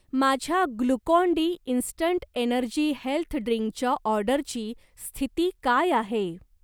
माझ्या Glucon D instant energy health ड्रिंकच्या ऑर्डरची स्थिती काय आहे?